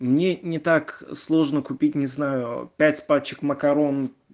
мне не так сложно купить не знаю пять пачек макарон